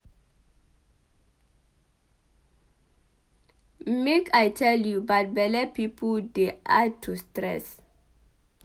Make I tell you bad belle pipu dey add to stress